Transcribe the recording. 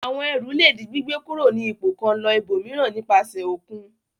Àwọn ẹrù le di gbígbé kúrò ní ipò kan lọ ibòmíràn nípasẹ̀ òkun.